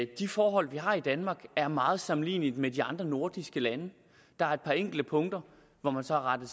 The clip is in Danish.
de forhold vi har i danmark er meget sammenlignelige med de andre nordiske lande der er et par enkelte punkter hvor man så har rettet